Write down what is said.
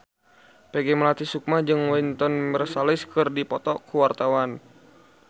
Peggy Melati Sukma jeung Wynton Marsalis keur dipoto ku wartawan